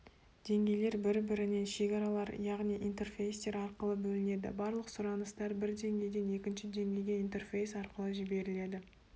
деңгейлер бір-бірінен шекаралар яғни интерфейстер арқылы бөлінеді барлық сұраныстар бір деңгейден екінші деңгейге интерфейс арқылы жіберіледі